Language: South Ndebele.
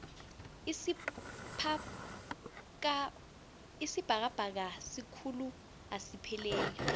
isibhakabhaka sikhulu asipheleli